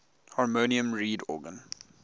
harmonium reed organ